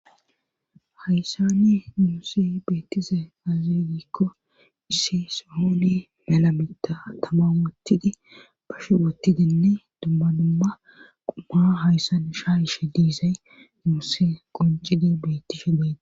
hayssani nuusi beettise azilikko issi sohoone malamita tamautidi bashe woottidinne dummanumma quma hayssan shaa ishe diizay niuusse goncidi bettishe deene